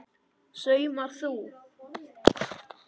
Saumar þú?